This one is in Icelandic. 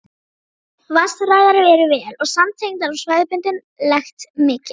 Vatnsæðar eru vel samtengdar og svæðisbundin lekt mikil.